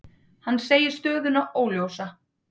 Hann segir stöðuna óljósa.